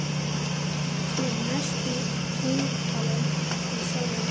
Hann er mest á eintali við sjálfan sig.